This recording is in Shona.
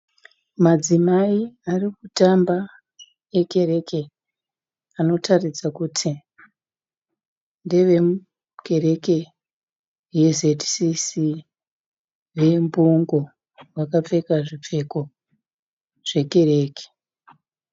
Madzimai arikutamba ekereke anotaridza kuti ndevekereke ye zcc vembungo. Vakapfeka zvipfeko zvekereke.